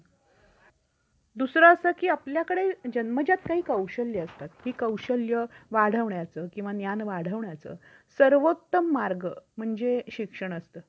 तृतीय पक्षाला झालेल्या दुखापत्यासाठी अमर्यादित संरक्षण आहे मात्र तृतीय पक्ष संपत्तीचे नुकसान संरक्षित करण्याची जास्तीत जास्त रक्कम नुकतच सात लाख पन्नास हजार एवढी च आहे